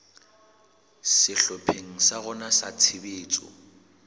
sehlopheng sa rona sa tshebetso